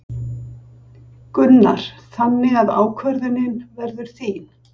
Gunnar: Þannig að ákvörðunin verður þín?